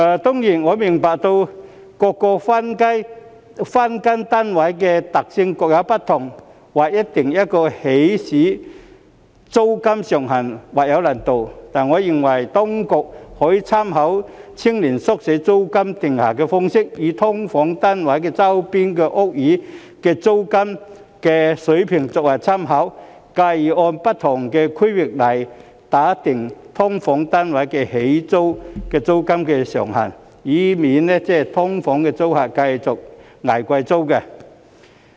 當然，我明白各個分間單位的特性各有不同，劃一訂定起始租金上限或有難度，但我認為當局可以參考青年宿舍的租金訂定方式，以"劏房"單位周邊的屋宇租金水平作為參考，繼而按不同的區域來訂定"劏房"單位的起始租金上限，以免"劏房"租客繼續"捱貴租"。